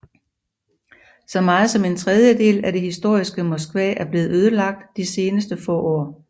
Så meget som en tredjedel af det historiske Moskva er blevet ødelagt de seneste få år